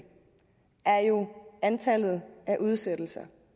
er jo antallet af udsættelser